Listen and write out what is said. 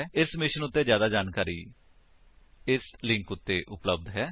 ਇਸ ਮਿਸ਼ਨ ਉੱਤੇ ਜਿਆਦਾ ਜਾਣਕਾਰੀ ਇਸ ਲਿੰਕ ਉੱਤੇ ਉਪਲੱਬਧ ਹੈ